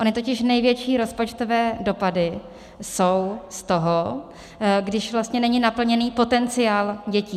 Ony totiž největší rozpočtové dopady jsou z toho, když vlastně není naplněný potenciál dětí.